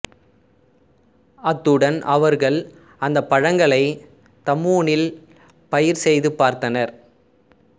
அத்துடன் அவர்கள் அந்தப் பழங்களைத் தம்பூனில் பயிர் செய்து பார்த்தனர்